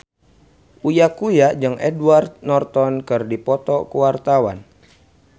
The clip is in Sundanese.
Uya Kuya jeung Edward Norton keur dipoto ku wartawan